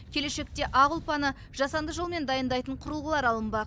келешекте ақ ұлпаны жасанды жолмен дайындайтын құрылғылар алынбақ